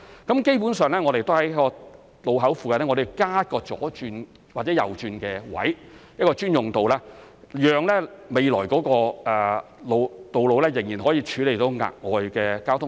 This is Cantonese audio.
基本上，我們會在路口附近加設左轉或右轉的位置、一個專用道，讓未來的道路仍然可以處理額外的交通量。